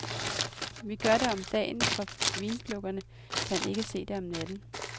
Vi gør det om dagen, for vinplukkerne kan ikke se om natten.